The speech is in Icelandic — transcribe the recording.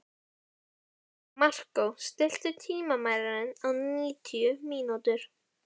Markó, stilltu tímamælinn á níutíu mínútur.